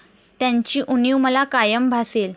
त्यांची उणीव मला कायम भासेल.